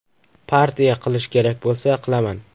Partiya qilish kerak bo‘lsa, qilaman.